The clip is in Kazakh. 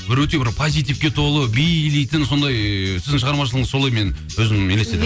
бір өте бір позитивке толы билейтін сондай ыыы сіздің шығармашылығыңыз солай мен өзім елестетемін